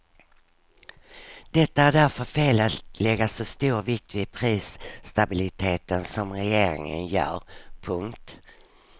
Det är därför fel att lägga så stor vikt vid prisstabiliteten som regeringen gör. punkt